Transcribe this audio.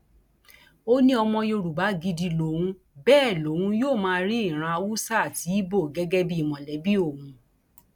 ó ní ọmọ yorùbá gidi lòun bẹẹ lòun yóò máa rí ìran haúsá àti ibo gẹgẹ bíi mọlẹbí òun